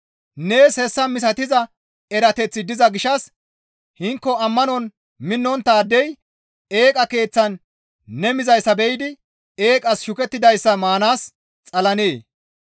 Nees hessa misatiza erateththi diza gishshas hinko ammanon minnonttaadey eeqa keeththan ne mizayssa be7idi eeqas shukettidayssa maanaas xalennee?